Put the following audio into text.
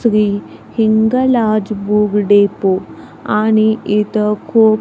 Shri Hinglaj book depot आणि इथं खुप --